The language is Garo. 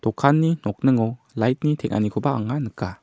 dokanni nokningo light-ni teng·anikoba anga nika.